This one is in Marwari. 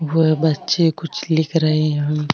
वो बच्चे कुछ लिख रहे है।